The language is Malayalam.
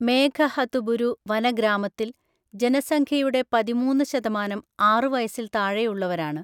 മേഘഹതുബുരു വനഗ്രാമത്തിൽ, ജനസംഖ്യയുടെ പതിമൂന്ന്‌ ശതമാനം ആറു വയസ്സിൽ താഴെയുള്ളവരാണ്.